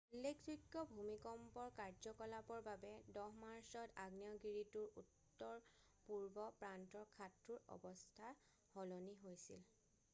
উল্লেখযোগ্য ভূমিকম্পৰ কাৰ্যকলাপৰ বাবে 10 মাৰ্চত আগ্নেয়গিৰিটোৰ উত্তৰপূৰ্ব প্ৰান্তৰ খাদটোৰ অৱস্থা সলনি হৈছিল